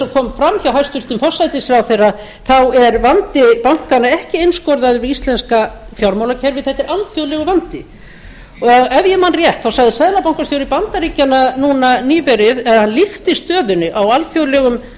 kom fram hjá hæstvirtum forsætisráðherra þá er vandi bankanna ekki einskorðaður við íslenska fjármálakerfið þetta er alþjóðlegur vandi og ef ég man rétt þá sagði seðlabankastjóri bandaríkjanna núna nýverið eða hann líkti stöðunni á alþjóðlegum